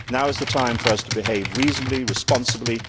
Now is the time for us to behave reasonably and responsibly.